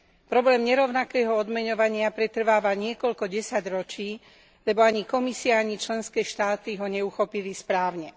Problém nerovnakého odmeňovania pretrváva niekoľko desaťročí, lebo ani Komisia, ani členské štáty ho neuchopili správne.